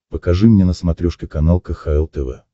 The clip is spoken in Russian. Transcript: покажи мне на смотрешке канал кхл тв